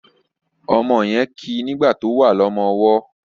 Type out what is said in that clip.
omó yén kí nigba tó wá ní ọmọ ọwó